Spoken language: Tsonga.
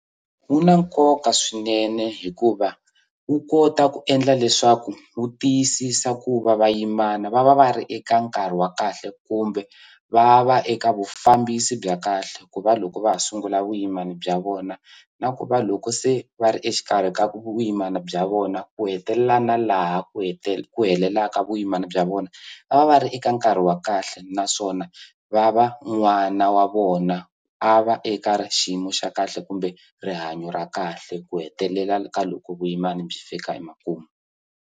Wu na nkoka swinene hikuva wu kota ku endla leswaku wu tiyisisa ku va vayimana va va va ri eka nkarhi wa kahle kumbe va va eka vufambisi bya kahle ku va loko va ha sungula vuyimani bya vona na ku va loko se va ri exikarhi ka vuyimana bya vona ku hetelela na laha ku ku hetelelaka vuyimana bya vona va va va ri eka nkarhi wa kahle naswona va va n'wana wa vona a va eka xiyimo xa kahle kumbe rihanyo ra kahle ku hetelela ka loko vuyimani byi fika emakumu.